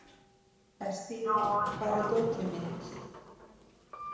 Estiva, hvar er dótið mitt?